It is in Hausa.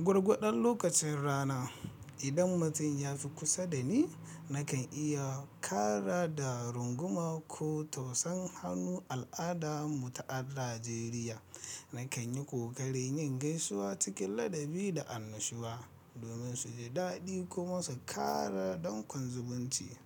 Gwargwadon lokacin rana, idan mutum ya fi kusa da ni nakan iya kara da runguma ko tausan hannu al'ada mu ta Najeriya. Nakan yi kokari yin gaisuwa cikin ladabi da annashuwa domin su ji daɗi kuma su kara don kwanzubanci.